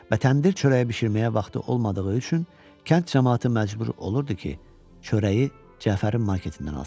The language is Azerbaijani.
Və təndir çörəyi bişirməyə vaxtı olmadığı üçün kənd camaatı məcbur olurdu ki, çörəyi Cəfərin marketindən alsın.